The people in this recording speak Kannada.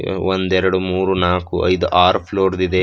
ಒಂದೆರಡು ಮೂರು ನಾಲ್ಕು ಐದು ಆರು ಫ್ಲೋರ್ ದಿದೆ.